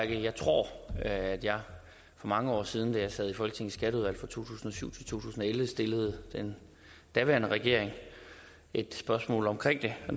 jeg tror at jeg for mange år siden da jeg sad i folketingets skatteudvalg fra to tusind og syv til to tusind og elleve stillede den daværende regering et spørgsmål omkring det og